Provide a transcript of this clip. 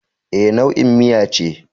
E, nau'in miya ce.